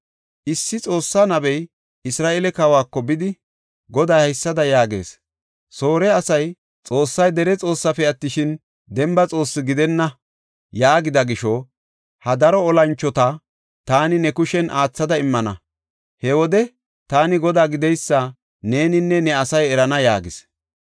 Issi Xoossa nabey Isra7eele kawako bidi, “Goday haysada yaagees; ‘Soore asay, Xoossay dere Xoossefe attishin, demba Xoossi gidenna yaagida gisho, ha daro olanchota taani ne kushen aathada immana. He wode taani Godaa gideysa neeninne ne asay erana’ ” yaagis.